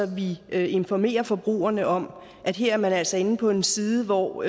vi informerer forbrugerne om at her er man altså inde på en side hvor